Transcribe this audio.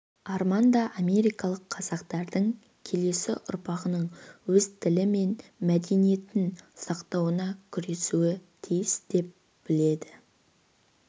арман да америкалық қазақтардың келесі ұрпағының өз тілі мен мәдениетін сақтауына күресуі тиіс деп біледі